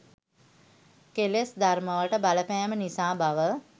කෙලෙස් ධර්මවල බලපෑම නිසා බව